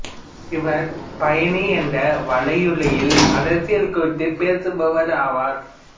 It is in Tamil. இவர் பயணி என்ற வலையொளியில் அரசியல் குறித்து பேசிவருபவர் ஆவார்